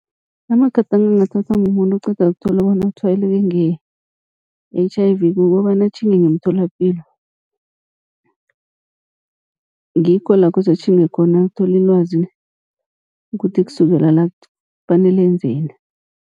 Amagadango angathathwa mumuntu oqeda ukuthola bona utshwayeleke nge-H_I_V, kukobana atjhinge ngemtholapilo. Ngikho la kose atjhinge khona ayokuthola ilwazi, kuthi kusukela la kufanele enzeni.